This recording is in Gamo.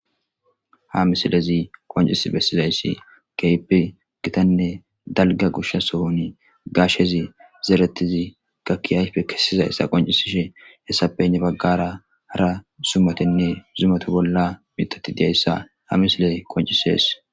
ha misilezi qoncis bessizayssi keypi gitanne dalga goshsha sohon gashezi zeeretizi gakki ayfe kessizayssa qoncisishe hessape hene baggara zumatinne zumatu bolla mitati de'iyassa ha misiley qoncisees